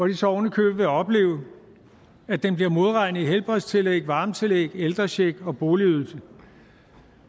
de så ovenikøbet vil opleve at den bliver modregnet i helbredstillæg varmetillæg ældrecheck og boligydelse